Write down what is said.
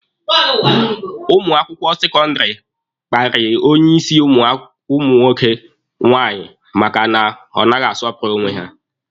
Ụmụ akwụkwọ sekọndịrị kparịrị onye isi ụmụ akwụkwọ nke nwaanyị maka na ọ naghị asọpụrụ onwe ya